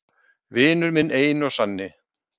Vinurinn minn eini og sanni!